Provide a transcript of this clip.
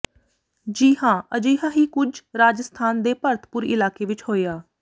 ਜੀ ਹਾਂ ਅਜਿਹਾ ਹੀ ਕੁਝ ਰਾਜਸਥਾਨ ਦੇ ਭਰਤਪੁਰ ਇਲਾਕੇ ਵਿੱਚ ਹੋਇਆ